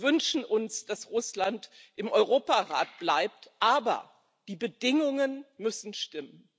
Wir wünschen uns, dass Russland im Europarat bleibt, aber die Bedingungen müssen stimmen.